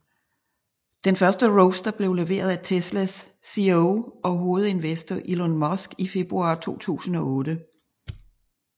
Den første Roadster blev leveret til Teslas CEO og hovedinvestor Elon Musk i februar 2008